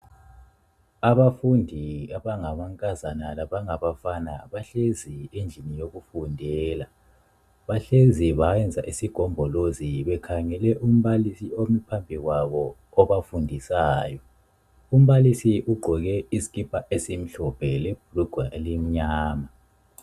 Abafundi abangamankazana labangabafana bahlezi endlini yokufundela, bahlezi bayenza isigombolozi bekhangele umbalisi omi phambi kwabo obafundisayo, umbalisi ugqoke isikipa esimhlophe lebhulugwa elimnyama.